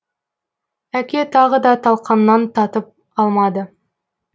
әке тағы да талқаннан татып алмады